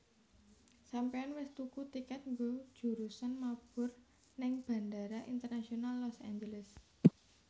Sampeyan wis tuku tiket nggo jurusan mabur ning Bandara Internasional Los Angeles?